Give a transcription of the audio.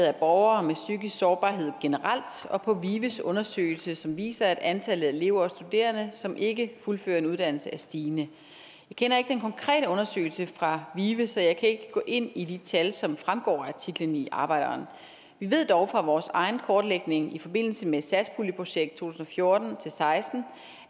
af borgere med psykisk sårbarhed generelt og på vives undersøgelse som viser at antallet af elever og studerende som ikke fuldfører en uddannelse er stigende jeg kender ikke den konkrete undersøgelse fra vive så jeg kan ikke gå ind i de tal som fremgår af artiklen i arbejderen vi ved dog fra vores egen kortlægning i forbindelse med satspuljeprojekt to tusind og fjorten til seksten